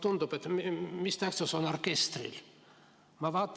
Tundub, et mis tähtsus orkestril ikka on.